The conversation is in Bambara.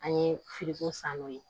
An ye san n'o ye